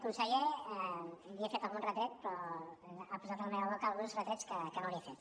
conseller li he fet algun retret però ha posat a la meva boca alguns retrets que no li he fet